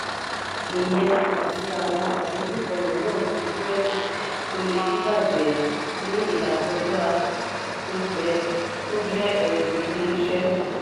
ìyẹn àti àwọn àdojúko míràn bí burẹdi to le dibajẹ ní ilakoja o jẹ ẹrù ilé iṣẹ.